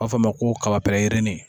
A b'a fɔ a ma ko kaba pɛrɛnni